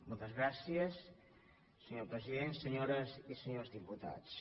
moltes gràcies senyor president senyores i senyors diputats